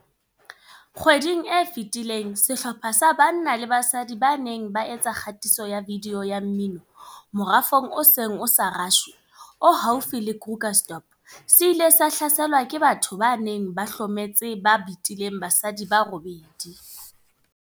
Kgweding e fetileng sehlopha sa banna le basadi ba neng ba etsa kgatiso ya vidiyo ya mmino morafong o seng o sa rashwe o haufi le Krugersdorp se ile sa hlaselwa ke batho ba neng ba hlometse ba betileng basadi ba robedi.